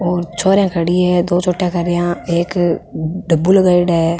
और छोरियां खड़ी है दो चोटियां करिया एक डब्बो लगायेड़ा है।